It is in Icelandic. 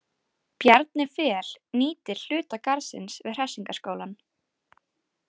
Bjarni Fel nýtir hluta garðsins við Hressingarskálann.